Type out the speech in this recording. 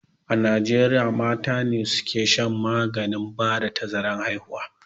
A najieriya mata ne suka shan maganin ba da tazarar haihuwa